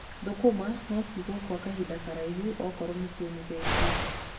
Thũkũma no cigwo gwa kahinda karaihu okorwo nĩciomithĩtio.